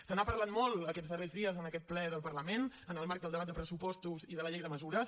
se n’ha parlat molt aquests darrers dies en aquest ple del parlament en el marc del debat de pressupostos i de la llei de mesures